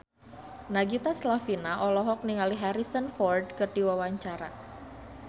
Nagita Slavina olohok ningali Harrison Ford keur diwawancara